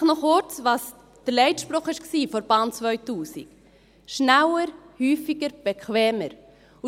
Vielleicht noch kurz dazu, was der Leitspruch der Bahn 2000 war: «Schneller, häufiger, bequemer».